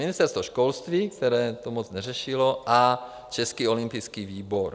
Ministerstvo školství, které to moc neřešilo, a Český olympijský výbor.